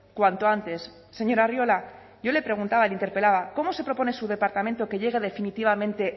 cuanto antes señor arriola yo le preguntaba le interpelaba cómo se propone su departamento que llegue definitivamente